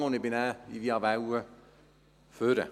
Ich ging dann via Welle nach vorne.